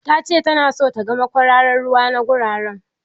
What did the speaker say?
Ta ce ta na son ta ga makwararar ruwa na gurara